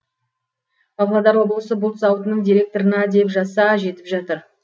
павлодар облысы бұлт зауытының директорына деп жазса жетіп жатыр